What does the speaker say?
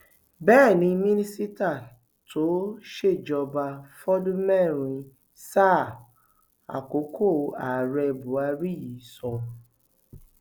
bẹẹ ni mínísítà tó ṣèjọba fọdún mẹrin sáà àkókò ààrẹ buhari yìí sọ